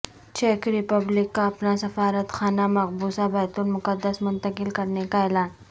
check Republic کا اپنا سفارت خانہ مقبوضہ بیت المقدس منتقل کرنے کا اعلان